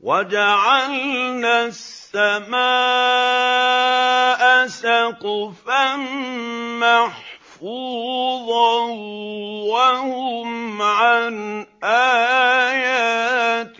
وَجَعَلْنَا السَّمَاءَ سَقْفًا مَّحْفُوظًا ۖ وَهُمْ عَنْ آيَاتِهَا